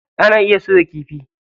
Ana iya soya kifi.